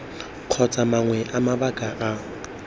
kgotsa mangwe a mabaka a